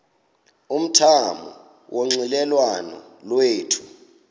umthamo wonxielelwano lwethu